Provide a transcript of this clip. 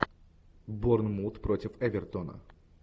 борнмут против эвертона